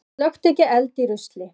Slökktu ekki eld í rusli